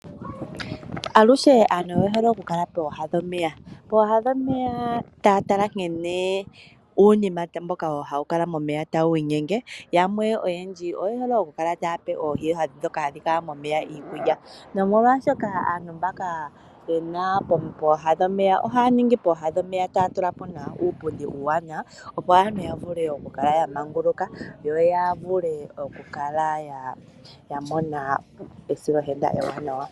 Aluhe aantu oye hole okukala pooha dhomeya taya tala nkene uunima mboka hawu kala momeya tawu inyenge. Oyendji oye hole okukala taya pe oohi ndhoka hadhi kala momeya iikulya nomolwashoka aantu mbaka ye li pooha dhomeya, ohaya tula po uupundi uuwanawa, opo aantu ya vule okukala ya manguluka yo ya vule okukala ya mona esilohenda ewanawa.